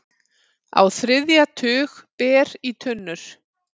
Á þriðja tug ber í tunnur